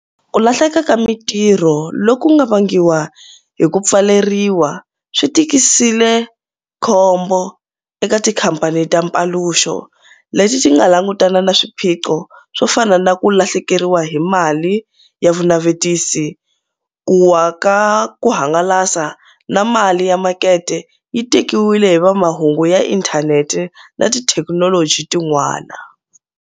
Ku lahleka ka mitirho loku nga vangiwa hi ku pfaleriwa swi tikisile khombo eka tikhamphani ta Mpaluxo leti tinga langutana na swiphiqo swo fana na ku lahlekeriwa hi mali ya vunavetisi, ku waka ku hangalasa na mali ya makete yi tekiwile hi va mahungu ya inthanete na tithekinoloji tin'wana.